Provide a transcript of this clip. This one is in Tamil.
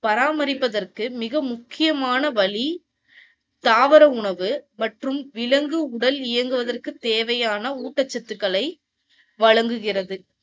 பாராமரிப்பதற்கு மிக முக்கியமான வழி தாவர உணவு மற்றும் விலங்கு உடல் இயங்குவதற்கு தேவையான ஊட்டச்சத்துக்களை வழங்குகிறது.